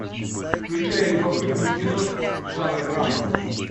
включай любопытную киношку жанр драма